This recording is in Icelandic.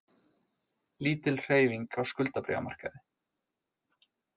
Lítil hreyfing á skuldabréfamarkaði